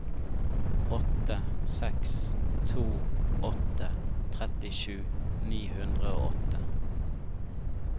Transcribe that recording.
åtte seks to åtte trettisju ni hundre og åtte